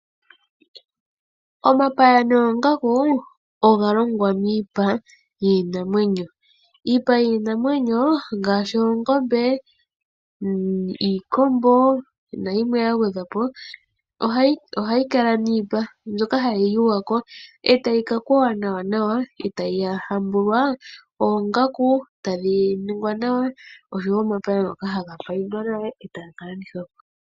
Omapaya noongaku oga longwa miipa yiinamwenyo. Iipa yiinamwenyo ngaashi oongombe, iikombo nayimwe ya gwedhwa po ohayi kala niipa mbyoka hayi yuywa ko e tayi ka kweywa nawanawa e tayi hambulwa oongaku, e tadhi ningwa nawa nosho wo omapaya ngoka haga paindwa nawa e taga ka landithwa po.